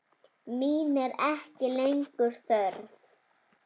Mín er ekki lengur þörf.